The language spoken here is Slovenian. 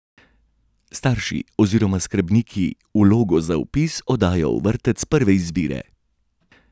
Starši oziroma skrbniki vlogo za vpis oddajo v vrtec prve izbire.